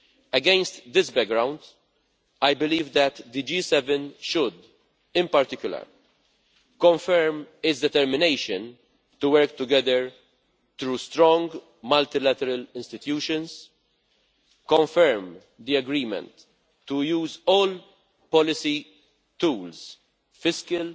Against this background, I believe that the G7 should, in particular, confirm its determination to work together through strong, multilateral institutions, confirm the agreement to use all policy tools, fiscal